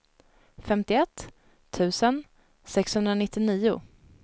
femtioett tusen sexhundranittionio